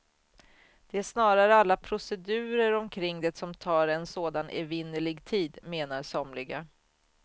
Det är snarare alla procedurer omkring det som tar en sådan evinnerlig tid, menar somliga.